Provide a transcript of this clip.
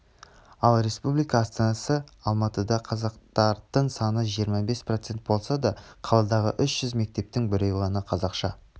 ал республика астанасы алматыда қазақтардың саны жиырма бес процент болса да қаладағы үш жүз мектептің біреу ғана қазақша